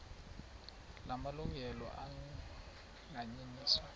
la malungelo anganyenyiswa